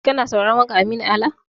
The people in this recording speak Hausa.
Kana sauraron waƙar Aminu Ala ne?